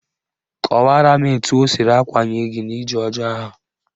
Kọwaraa m etu o siri akwanye gị n'ije ọjọọ ahụ